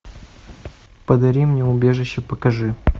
подари мне убежище покажи